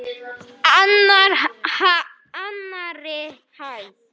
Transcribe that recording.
Það vex fljótt.